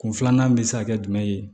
Kun filanan bɛ se ka kɛ jumɛn ye